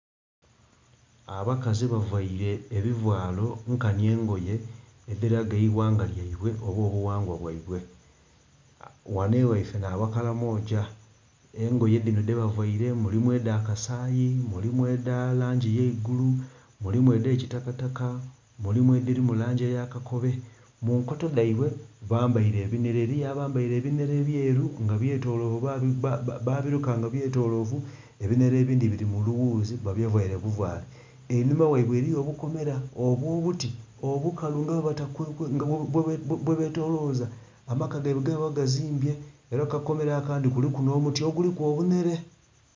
Abakazi baveire ebivalo nkanhi engoye edhilaga eighanga lyeibwe oba obughangwa bweibwe. Ghanho egheife nha bakalamoja engoye dhinho dheba veire mulimu edha kasaii, mulimu edha langi ey'eigulu, mulimu edhe kitaka take, mulimu edhirimu langi yakakobe munkoto dheibwe bambeire ebinhere eriyo abambere ebinhere ebyeru nga byetolovu babiluka nga byetolovu. Ebinhere edhindhi biri mulughuzi babiveire buvale enhuma ghabwe eriyo obukomera obwobuti obukalu nga bwebetoza amaka geibwe gebaba bazimbye era kukakomera akandhi kuliku omuti oguliku obunhere